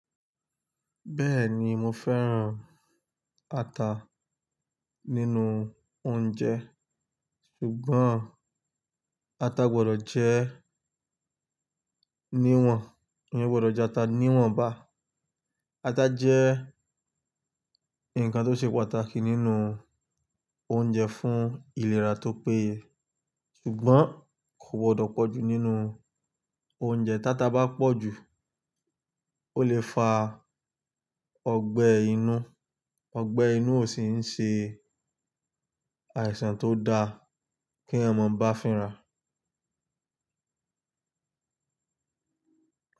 Bẹ́ẹ̀ni mo fẹ́ran ata nínú oúnjẹ ṣùgbọ́n ata gbọdọ̀ jẹ́ níwọ̀n, eyẹn gbọdọ̀ jẹ́ ata níwọ̀n bá. Ata jẹ́ ǹkan tó ṣe pàtàkì nínú oúnjẹ fún ìlera tó péye ṣùgbọ́n kò gbọdọ̀ pọ̀ jù nínú oúnjẹ. Táta bá pọ̀ jù ó lè fa ọgbẹ́ inú, ọgbẹ́ inú ò sì ń ṣe àìsàn tó da kí ẹ̀mọ̀ bá fínra.